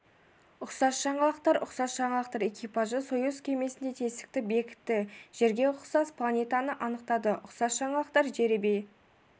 ұқсас жаңалықтар ұқсас жаңалықтар экипажы союз кемесіндегі тесікті бекітті жерге ұқсас планетаны анықтады ұқсас жаңалықтар жеребе